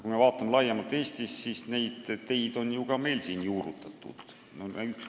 Kui me vaatame laiemalt, siis neid teid on ju Eestis ka juurutatud.